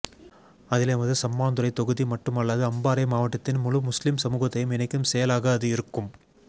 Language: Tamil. அதில் எமது சம்மாந்துறை தொகுதி மட்டுமல்லாது அம்பாறை மாவட்டத்தின் முழு முஸ்லிம் சமூகத்தையும் இணைக்கும் செயலாக அது இருக்கும்